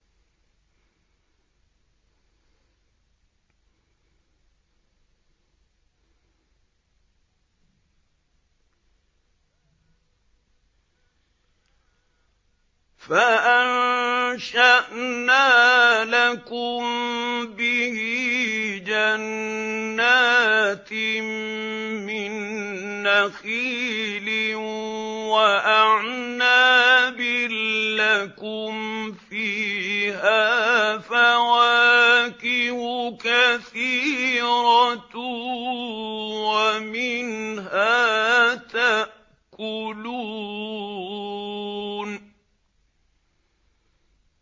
فَأَنشَأْنَا لَكُم بِهِ جَنَّاتٍ مِّن نَّخِيلٍ وَأَعْنَابٍ لَّكُمْ فِيهَا فَوَاكِهُ كَثِيرَةٌ وَمِنْهَا تَأْكُلُونَ